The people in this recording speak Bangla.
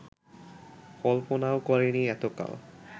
কল্পনাও করেনি এতকাল